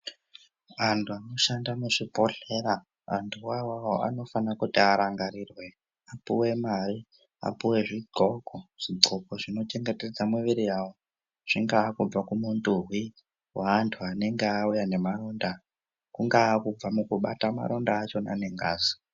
Antu anoshanda muzvibhedhlera , antu wawa vanofana kuti arangarirwe apuwe mari. Apuwe zvixoko, zvixoko zvinochengetedza miviri yavo. Zvingava kubva kumunduwi we antu anenge awuya nemaronda, kungava kubva mukubata maronda achona nengazi.